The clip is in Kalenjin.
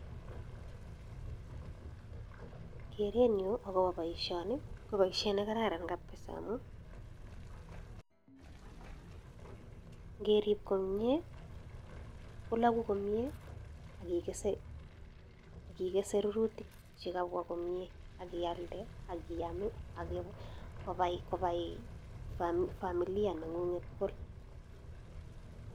Kereeen nyuu ako pa poishani ko poishet nekararan amun ngerip komnyee ikesee rurutik chekararanen akipaii familiaaa nengunget komnyee